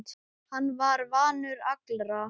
Hann var vinur allra.